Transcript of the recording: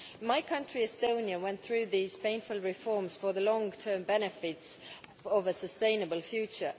My country, Estonia, went through these painful reforms for the long term benefits of a sustainable future.